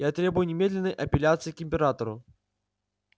я требую немедленной апелляции к императору